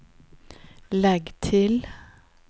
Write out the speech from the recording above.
legg til